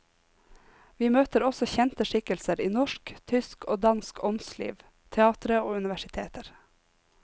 Vi møter også kjente skikkelser i norsk, tysk og dansk åndsliv, teatre og universiteter.